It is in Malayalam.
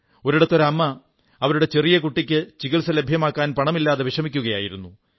ഒരിടത്ത് ഒരു അമ്മ അവരുടെ ചെറിയ കുട്ടിയ്ക്ക് ചികിത്സ ലഭ്യമാക്കാൻ പണമില്ലാതെ വിഷമിക്കയായിരുന്നു